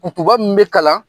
Kukuba min bɛ kalan